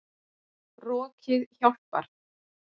Rokið hjálpar.